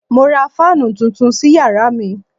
Mo ra fáànù tuntun sí yàrá mi